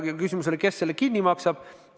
Küsimus oli, kes selle kinni maksab.